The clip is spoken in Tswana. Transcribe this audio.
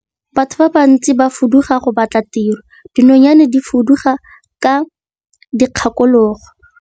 Batho ba bantsi ba fuduga go batla tiro, dinonyane di fuduga ka dikgakologo.